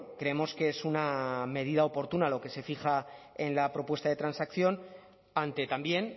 creemos que es una medida oportuna lo que se fija en la propuesta de transacción ante también